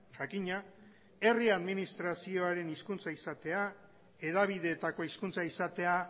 jakina herri administrazioaren hezkuntza izatea hedabideetako hizkuntza izatea